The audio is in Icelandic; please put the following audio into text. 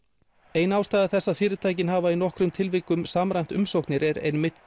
ein ástæða þess að fyrirtækin hafa í nokkrum tilvikum samræmt umsóknir er einmitt